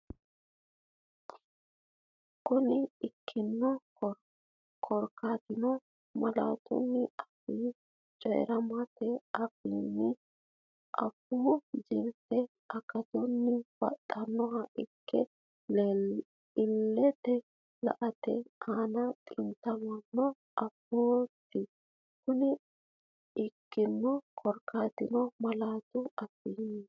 Kuni ikkino korkaatino, malaatu afii coyi’rammete afiinni afuu jirtennino akatunnino baxxinoha ikke illetenni la”ate aana xintamino afooti Kuni ikkino korkaatino, malaatu afii.